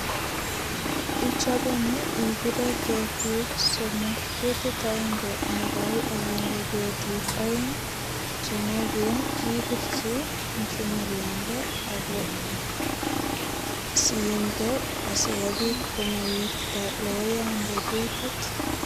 Ichobe ni ipire ketiik somok, ketit agenge ne koi ak inde ketiik aeng chenuagen ipirchi mchumariande ago siinde sogopit komawirta logoyande ketit.